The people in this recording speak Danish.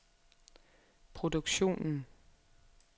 produktionen